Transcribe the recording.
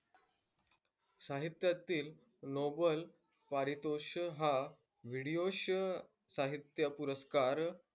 साहित्यातील नोबेल पारितोषिक हा साहित्य पुरस्कार,